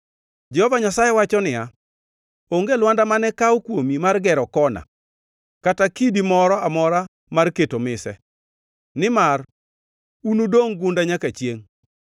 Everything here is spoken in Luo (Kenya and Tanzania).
Jehova Nyasaye wacho niya, “Onge lwanda mane kaw kuomi mar gero kona, kata kidi moro amora mar keto mise, nimar unudongʼ gunda nyaka chiengʼ.